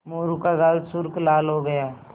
मोरू का गाल सुर्ख लाल हो गया